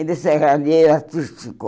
Ele era serralheiro artístico.